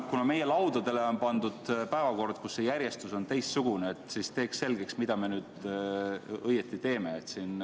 Kuna meie laudadele on pandud päevakord, kus see järjestus on teistsugune, siis teeks selgeks, mida me õieti teeme.